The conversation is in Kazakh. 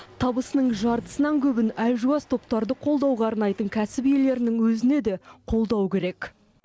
табысының жартысынан көбін әлжуаз топтарды қолдауға арнайтын кәсіп иелерінің өзіне де қолдау керек